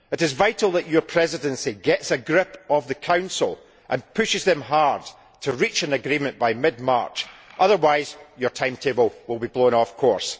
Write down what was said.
It is vital that your Presidency gets a grip of the Council and pushes them hard to reach an agreement by mid March, otherwise your timetable will be blown off course.